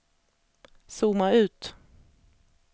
zooma ut